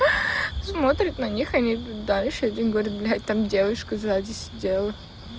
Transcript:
смотрит на них и лыбу давит ещё один говорит блядь там девушку сзади сидела